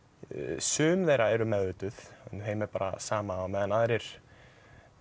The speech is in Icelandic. sum þeirra eru meðvituð en þeim er bara sama á meðan aðrir